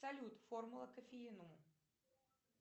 салют формула кофеина